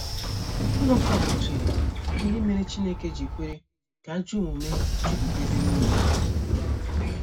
Habakuk chere ihe mere Chineke ji kwere ka ajọ omume jupụta ebe nile.